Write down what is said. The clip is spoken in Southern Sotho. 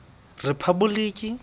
rephaboliki